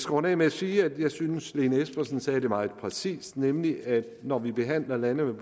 runde af med at sige at jeg synes lene espersen sagde det meget præcist nemlig at når vi behandler lande